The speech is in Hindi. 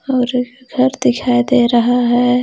और एक घर दिखाई दे रहा हे.